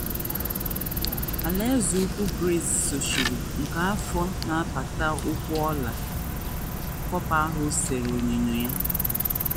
Alaeze Ukwu Gris sochiri, nke afọ na apata ụkwụ ọla copper ahụ sere onyinyo ya.